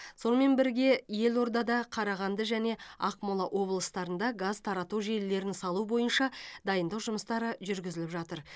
сонымен бірге елордада қарағанды және ақмола облыстарында газ тарату желілерін салу бойынша дайындық жұмыстары жүргізіліп жатыр